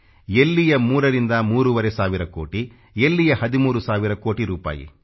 ಎಲ್ಲಿಯ 3ರಿಂದ ಮೂರುವರೆ ಸಾವಿರ ಕೋಟಿ ಎಲ್ಲಿಯ 13 ಸಾವಿರ ಕೋಟಿ ರೂಪಾಯಿ